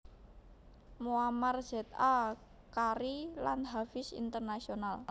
Muammar Z A qari lan hafiz internasional